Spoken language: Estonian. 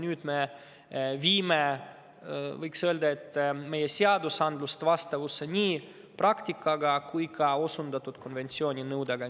Nüüd me viime, võiks öelda, meie seadused vastavusse nii praktikaga kui ka osundatud konventsiooni nõuetega.